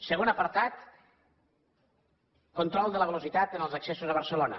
segon apartat control de la velocitat en els accessos a barcelona